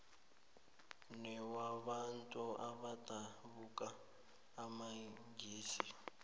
newabantu abadabuka emangisini